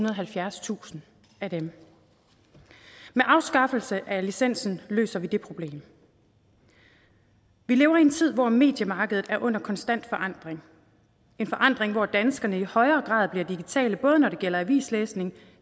og halvfjerdstusind af dem med afskaffelsen af licensen løser vi det problem vi lever i en tid hvor mediemarkedet er under konstant forandring en forandring hvor danskerne i højere grad bliver digitale både når det gælder avislæsning